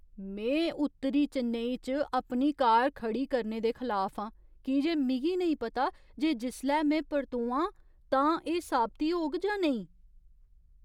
में उत्तरी चेन्नई च अपनी कार खड़ी करने दे खलाफ आं की जे मिगी नेईं पता जे जिसलै में परतोआं तां एह् साबती होग जां नेईं।